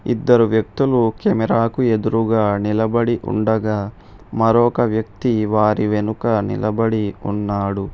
ఇద్దరు వ్యక్తులు కెమెరా కు ఎదురుగా నిలబడి ఉండగా మరొక వ్యక్తి వారి వెనుక నిలబడి ఉన్నాడు.